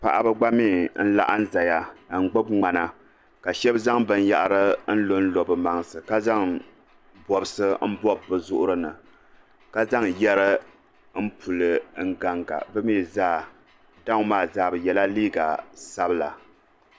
Paɣaba gba mii n laɣim n zaya n gbibi ŋmana ka shɛba zaŋ binyahiri n lonlo bɛ mansi ka zaŋ bosi m bobi bɛ zuɣuri ni ka zaŋ yeri n puli n ganga bɛ mii zaa daw maa zaa bɛ yela liiga sabla.